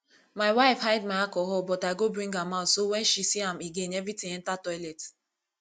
my wife hide my alcohol but i go bring am out so wen she see am again everything enter toilet